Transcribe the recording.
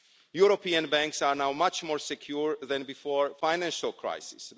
European banks are now much more secure than before the financial crisis.